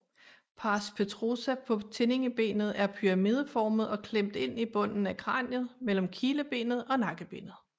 Pars petrosa på tindingebenet er pyramideformet og klemt ind i bunden af kraniet mellem kilebenet og nakkebenet